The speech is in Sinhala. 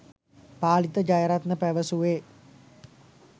පාලිත ජයරත්න පැවසුවේ